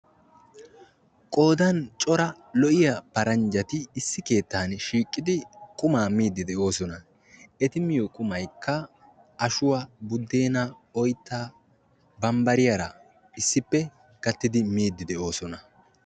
qoodan cora lo'iyaa paranjjati issi keettaani shiiqidi qumaa miidi de'oosona. eti miyo qumaykka ashuwa, budeenaa, oyttaa bambariyaara issippe miidi de'oosona.